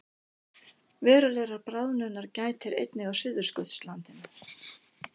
Verulegrar bráðnunar gætir einnig á Suðurskautslandinu